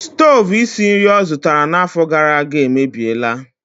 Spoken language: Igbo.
Stovu isi nri ọ zụtara n'afọ gara aga emebiela.